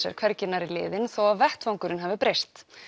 er hvergi nærri liðin þó vettvangurinn hafi breyst